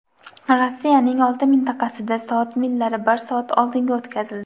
Rossiyaning olti mintaqasida soat millari bir soat oldinga o‘tkazildi.